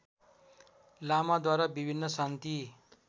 लामाद्वारा विभिन्न शान्ति